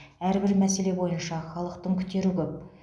әрбір мәселе бойынша халықтың күтері көп